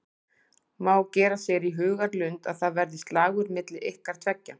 Má gera sér í hugarlund að það verði slagur milli ykkar tveggja?